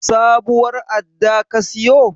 Sabuwar adda ka siyo?